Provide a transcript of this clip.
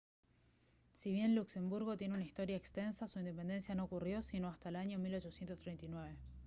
si bien luxemburgo tiene una historia extensa su independencia no ocurrió sino hasta el año 1839